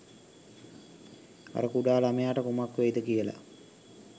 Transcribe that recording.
අර කුඩා ළමයට කුමක් වෙයිද කියල